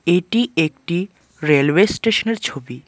এটি একটি রেলওয়ে স্টেশনের ছবি।